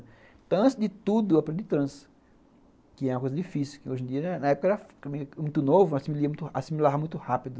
Então, antes de tudo eu aprendi trança, que é uma coisa difícil, que hoje em dia, na época era muito novo, assimilava muito rápido.